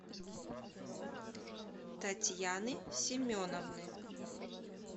татьяны семеновны